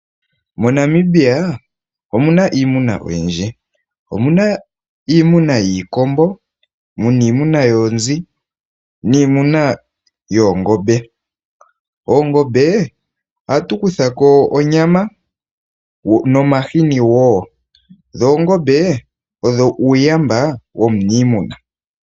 MoNamibia omuna iimuna oyindjii. Omuna iimuna yiikombo, yoonzi niimuna yoongombe. Oongombe ohatu kutha ko onyama nomahini woo. Oongombe odho uuyamba womuniimuna.